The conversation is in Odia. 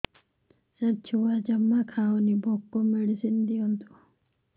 ସାର ଛୁଆ ଜମା ଖାଉନି ଭୋକ ମେଡିସିନ ଦିଅନ୍ତୁ